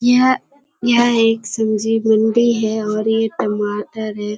यह यह एक सब्जी मंडी है और ये एक टमाटर है।